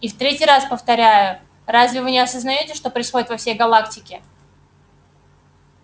и в третий раз повторяю разве вы не осознаёте что происходит во всей галактике